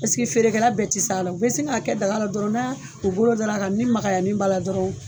Paseke feerekɛla bɛɛ tɛ se a la, u bɛ sin k'a kɛ daga la dɔrɔn na u bolo da ra kan ni makayani ba la dɔrɔn.